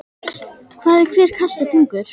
Hvað er hver kassi þungur?